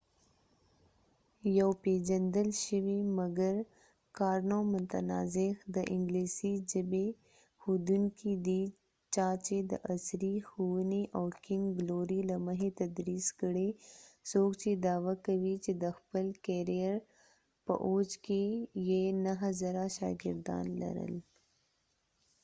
کارنو karno یو پیژندل شوي مګر متنازع د انګلیسی ژبی ښوونکې دي چا چې د عصری ښوونی او کنګ ګلوری king's glory له مخی تدرېس کړي څوک چې دعوه کوي چې د خپل کېریر په اوج کې یې 9000 شا ګردان لرل